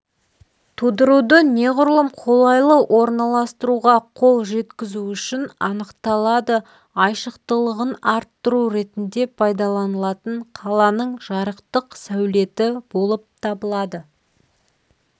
тудыруды неғұрлым қолайлы орналастыруға қол жеткізу үшін анықталады айшықтылығын арттыру ретінде пайдаланылатын қаланың жарықтық сәулеті болып табылады